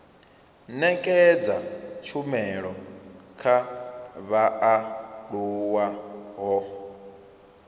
nekedza tshumelo kha vhaaluwa ho